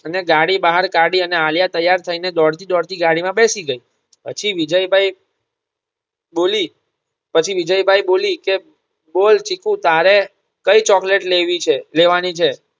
અને ગાડી બહાર કાઢી અને આલિયા તૈયાર થઈ ને દોડતી દોડતી ગાડી માં બેસી ગઈ પછી વિજયભાઇ બોલી પછી વિજયભાઇ બોલી કે બોલ ચીકુ તારે કઈ ચોકલેટ લેવી છે લેવાની છે